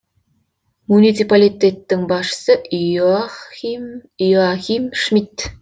муниципалитеттің басшысы йоахим шмидт